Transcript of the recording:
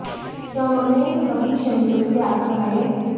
क्या उन्होंने कभी शहीदों के लिए आंसू बहाए हैं